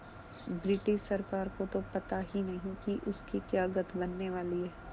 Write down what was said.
British सरकार को तो पता ही नहीं कि उसकी क्या गत बनने वाली है